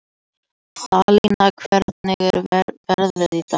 Salína, hvernig er veðrið í dag?